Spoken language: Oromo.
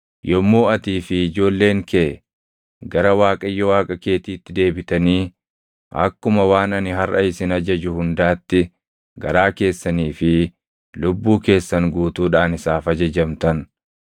yommuu atii fi ijoolleen kee gara Waaqayyo Waaqa keetiitti deebitanii akkuma waan ani harʼa isin ajaju hundaatti garaa keessanii fi lubbuu keessan guutuudhaan isaaf ajajamtan,